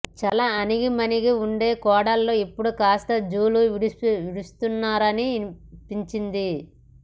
చాలా అణిగిమణిగి ఉండే కోడళ్లు ఇప్పుడు కాస్త జూలు విదులుస్తున్నారనిపించింది